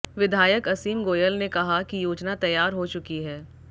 विधायक असीम गोयल ने कहा कि योजना तैयार हो चुकी है